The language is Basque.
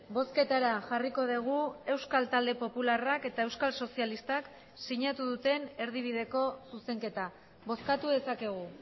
bozketara jarriko dugu euskal talde popularrak eta euskal sozialistak sinatu duten erdibideko zuzenketa bozkatu dezakegu